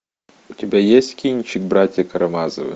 у тебя есть кинчик братья карамазовы